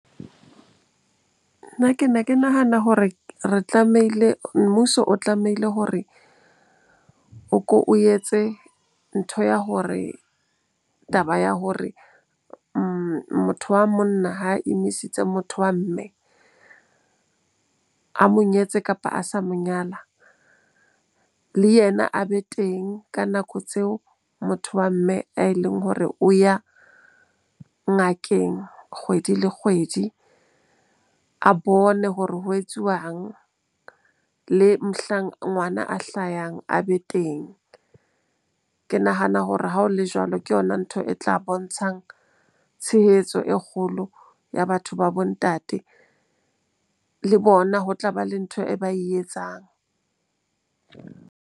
Nna ke ne ke nahana hore re tlamehile, mmuso o tlamehile hore o ko o etse ntho ya hore taba ya hore motho wa monna ha imisitse motho wa mme a mo nyetseng, kapa a sa mo nyala. Le yena a be teng ka nako tseo motho wa mme e leng hore o ya ngakeng kgwedi le kgwedi, a bone hore ho etsuwang. Le mohlang ngwana a hlayang a be teng. Ke nahana hore ha o le jwalo, ke yona ntho e tla bontshang tshehetso e kgolo ya batho ba bo ntate. Le bona ho tlaba le ntho e ba e etsang.